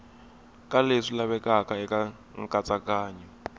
ka leswi lavekaka eka nkatsakanyo